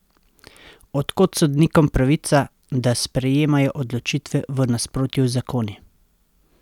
Od kod sodnikom pravica, da sprejemajo odločitve v nasprotju z zakoni?